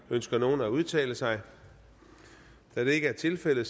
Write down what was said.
ønsker nogen at udtale sig da det ikke er tilfældet